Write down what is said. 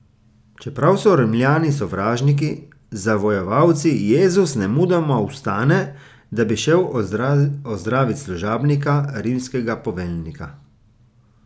Čeprav so Rimljani sovražniki, zavojevalci, Jezus nemudoma vstane, da bi šel ozdravit služabnika rimskega poveljnika.